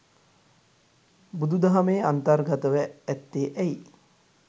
බුදුදහමේ අන්තර්ගතව ඇත්තේ ඇයි?